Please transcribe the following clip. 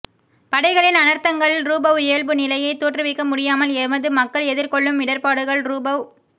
படைகளின் அனர்த்தங்கள்ரூபவ் இயல்புநிலையை தோற்றுவிக்க முடியாமல் எமது மக்கள் எதிர்கொள்ளும் இடர்பாடுகள்ரூபவ்